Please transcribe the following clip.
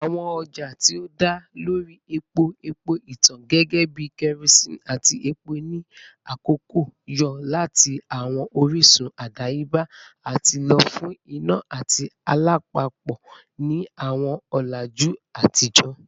Awọn ọja ti o da lori epo-epo itan gẹgẹbi kerosene ati epo ni akọkọ yo lati awọn orisun adayeba ati lo fun ina ati alapapo ni awọn ọlaju atijọ.